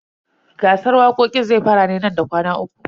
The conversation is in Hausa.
Gasar waƙoƙin zai fara ne nan da kwana uku.